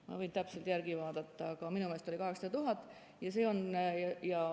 Ma võin täpselt järele vaadata, aga minu meelest oli see 800 000 eurot.